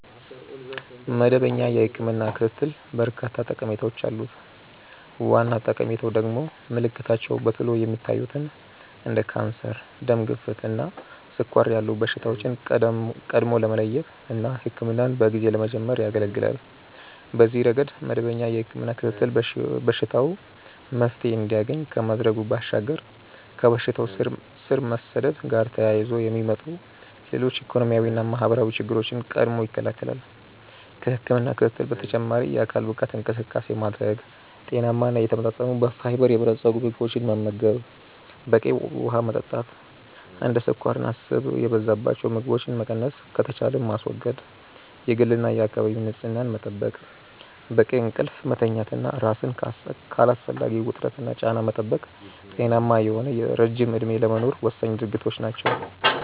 መደበኛ የህክምና ክትትል በርካታ ጠቀሜታዎች አሉት። ዋና ጠቀሜታው ደግሞ ምልክታቸው በቶሎ የማይታዩትን እንደ ካንሰር፣ ደም ግፊት እና ስኳር ያሉ በሽታዎችን ቀድሞ ለመለየት እና ህክምናን በጊዜ ለመጀመር ያገለገላል። በዚህ ረገድ መደበኛ የህክምና ክትትል በሽታው መፍትሔ እንዲያገኝ ከማድረጉ ባሻገር ከበሽታው ስር መስደድ ጋር ተያይዞ የሚመጡ ሌሎች ኢኮኖሚያዊና ማህበራዊ ችግሮችን ቀድሞ ይከለከላል። ከህክምና ክትትል በተጨማሪ የአካል ብቃት እንቅስቃሴ ማድረግ፣ ጤናማ እና የተመጣጠኑ በፋይበር የበለፀጉ ምግቦችን መመገብ፣ በቂ ውሀ መጠጣት፣ እንደ ስኳርና ስብ የበዛባቸው ምግቦችን መቀነስ ከተቻለም ማስወገድ፣ የግልና የአካባቢ ንጽህና መጠበቅ፣ በቂ እንቅልፍ መተኛት እና ራስን ከአላስፈላጊ ውጥረትና ጫና መጠበቅ ጤናማ የሆነ ረጅም እድሜ ለመኖር ወሳኝ ድርጊቶች ናቸው።